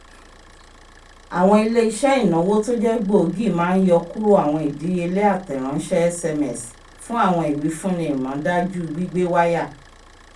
awọn ile-iṣẹ ìnáwó t'oje gbóògì má n yọ kúrò awọn ìdíyelé atẹ ránṣẹ sms fun awọn iwifunni ìmúdájú gbígbé waya